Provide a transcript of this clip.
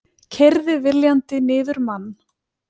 Keyrði viljandi niður mann